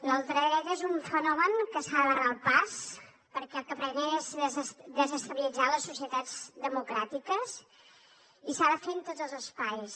la ultradreta és un fenomen a què s’ha de barrar el pas perquè el que pretén és desestabilitzar les societats democràtiques i s’ha de fer en tots els espais